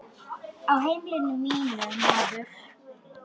Á heimili mínu, maður.